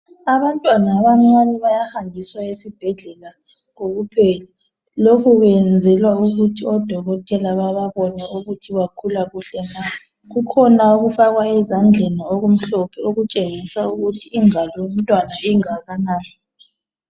Abantwana abancane bayahanjiswa esibhedlela kokuphela. Lokhu kwenzelwa ukuthi oDokotela bababone ukuthi bakhula kuhle na. Kukhona okufakwa ezandleni okumhlophe okutshengisa ukuthi ingalo yomntwana ingakanani.